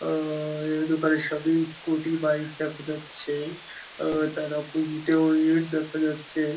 আঁ- এ দোকানের সামনে স্কুটি বাইক দেখা যাচ্ছে তারা ইটেও ইট দেখা যাচ্ছে।